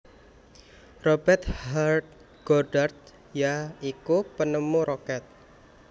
Robert H Goddard ya iku penemu Roket